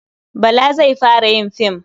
Bala zai fara yin fim.